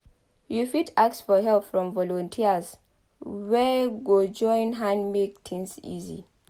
you fit ask for help from volunteers wey go join hand make things easy